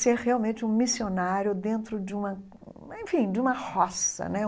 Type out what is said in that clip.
ser realmente um missionário dentro de uma, enfim, de uma roça, né?